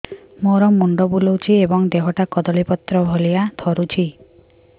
ମୋର ମୁଣ୍ଡ ବୁଲାଉଛି ଏବଂ ଦେହଟା କଦଳୀପତ୍ର ଭଳିଆ ଥରୁଛି